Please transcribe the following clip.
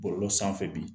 Bɔlɔlɔ sanfɛ bi